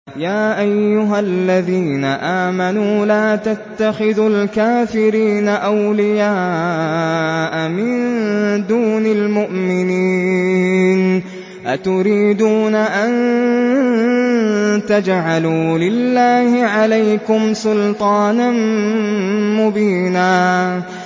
يَا أَيُّهَا الَّذِينَ آمَنُوا لَا تَتَّخِذُوا الْكَافِرِينَ أَوْلِيَاءَ مِن دُونِ الْمُؤْمِنِينَ ۚ أَتُرِيدُونَ أَن تَجْعَلُوا لِلَّهِ عَلَيْكُمْ سُلْطَانًا مُّبِينًا